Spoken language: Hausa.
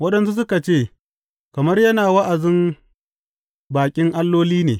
Waɗansu suka ce, Kamar yana wa’azin baƙin alloli ne.